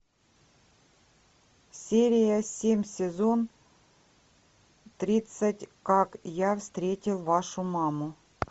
серия семь сезон тридцать как я встретил вашу маму